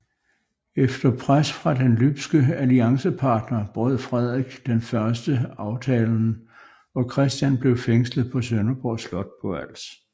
Efter pres fra den lybske alliancepartner brød Frederik I aftalen og Christian blev fængslet på Sønderborg slot på Als